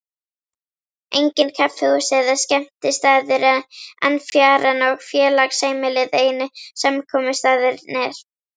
Engin kaffihús eða skemmtistaðir en fjaran og félagsheimilið einu samkomustaðirnir.